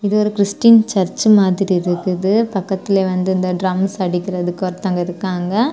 இது ஒரு Christian church மாதிரி இருக்குது. பக்கத்துலயே வந்து இந்த ட்ரம்ஸ் அடிக்கிறதுக்கு ஒருத்தங்க இருக்காங்க.